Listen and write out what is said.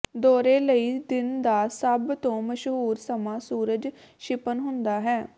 ਦੌਰੇ ਲਈ ਦਿਨ ਦਾ ਸਭ ਤੋਂ ਮਸ਼ਹੂਰ ਸਮਾਂ ਸੂਰਜ ਛਿਪਣ ਹੁੰਦਾ ਹੈ